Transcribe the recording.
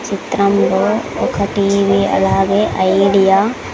చిత్రంలో ఒక TV అలాగే ఐడియా --